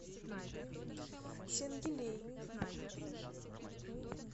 сенгилей